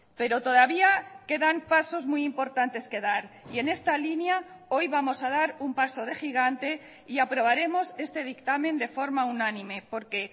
pero todavía quedan pasos muy importantes que dar y en esta línea hoy vamos a dar un paso de gigante y aprobaremos este dictamen de forma unánime porque